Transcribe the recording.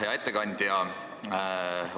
Hea ettekandja!